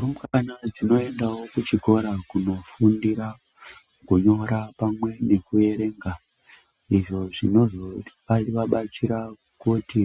Rumbwana dzinoendawo kuchikora kunofundira kunyora nekuerenga izvo zvinozovabatsira kuti